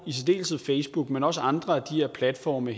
facebook men også på andre af de her platforme